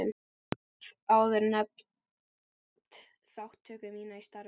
Ég hef áður nefnt þátttöku mína í starfi